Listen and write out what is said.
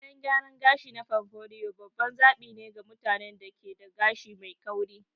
Kayan gyaran gashi na pompadour babban zaɓi ne ga mutanen da ke da gashi mai kauri.